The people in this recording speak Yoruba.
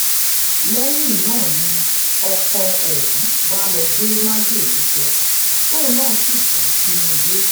lẹyin naa ni ọkọ ọhun ba lọ gbe majele jẹ toun naa si ku sinu ile